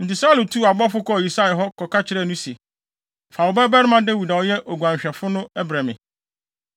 Enti Saulo tuu abɔfo kɔɔ Yisai hɔ kɔka kyerɛɛ no se, “Fa wo babarima Dawid a ɔyɛ oguanhwɛfo no brɛ me.”